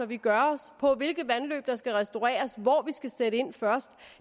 vi gør os om hvilke vandløb der skal restaureres hvor vi skal sætte ind først